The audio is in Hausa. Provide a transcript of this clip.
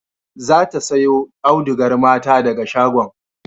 Za ta sayo audugar mata daga shagon